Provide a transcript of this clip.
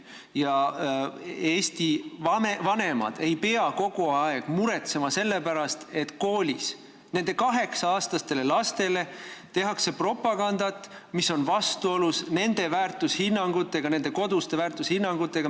Ja Eesti vanemad ei peaks kogu aeg muretsema selle pärast, et koolis tehakse nende kaheksa-aastastele lastele propagandat, mis on vastuolus nende koduste väärtushinnangutega.